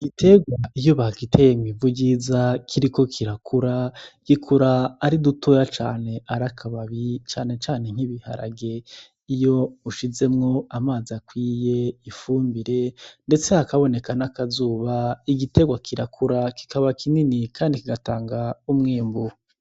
Igiterwa iyo bagiteye mw'ivu ryiza kiriko kirakura, gikura ari dutoya cane ari akababi cane cane nk'ibiharage. Iyo ushizemwo amazi akwiye, ifumbire ndetse hakaboneka n'akazuba, igiterwa kirakura kikaba kinini kandi kigatanga umwimbu.